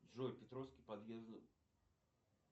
джой петровский подъезд